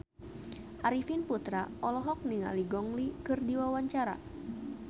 Arifin Putra olohok ningali Gong Li keur diwawancara